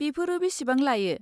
बेफोरो बेसेबां लायो?